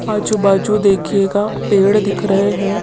आजू बाजू देखिएगा पेड़ दिख रहे हैं।